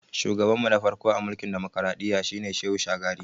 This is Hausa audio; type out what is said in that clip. Shugaban mu na farko a mulkin dimokradiyya shi ne Shehu Shagari